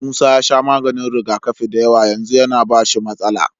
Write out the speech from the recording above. Musa ya sha maganin rigakafi dayawa yanzu yAna bashi matsala